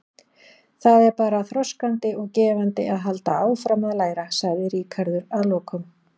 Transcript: Það er bara þroskandi og gefandi að halda áfram að læra, sagði Ríkharður að lokum.